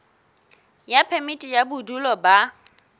ya phemiti ya bodulo ba